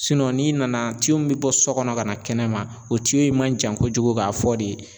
Sinɔ n'i nana tiyo fila min be bɔ sɔ kɔnɔ ka na kɛnɛma o tiyo in ye man jan kojugu k'a fɔ de